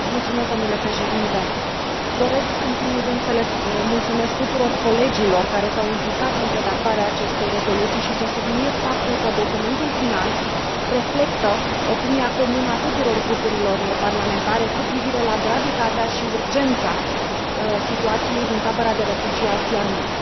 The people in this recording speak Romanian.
Domnule președinte, doresc, în primul când, să le mulțumesc tuturor colegilor care s au implicat în redactarea acestei rezoluții și să subliniez faptul că documentul final reflectă opinia comună a tuturor grupurilor parlamentare cu privire la gravitatea și urgența situației din tabăra de refugiați Yarmouk.